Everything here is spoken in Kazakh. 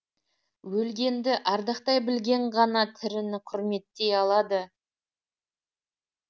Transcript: өлгенді ардақтай білген ғана тіріні құрметтей алады